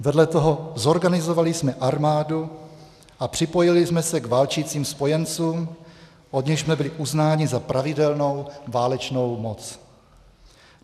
vedle toho zorganisovali jsme armádu a připojili jsme se k válčícím Spojencům, od nichž jsme byli uznáni za pravidelnou válečnou moc.